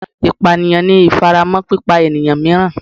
Ipaniyan ni ifaramọ pipa eniyan miiran